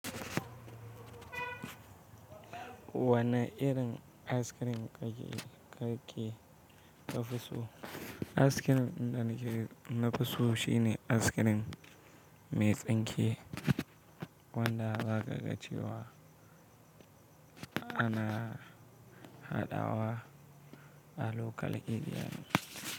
Wane irin askirin ka fi so? Askirin din da na fi so shine askirin mai tsinke wanda za ka gan shi ana haɗawa a local area.